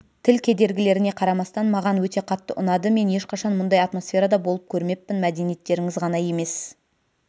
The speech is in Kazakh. тіл кедергілеріне қарамастан маған өте қатты ұнады мен ешқашан мұндай атмосферада болып көрмеппін мәдениеттеріңіз ғана емес